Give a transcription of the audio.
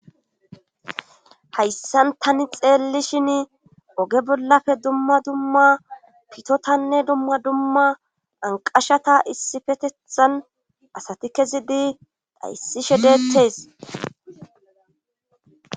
Hayssan tani xeelli shin oge bollafe dumma dumma pitotanne dumma dumma anqashata issifetethan asati kezidi dhayssishe deeththees.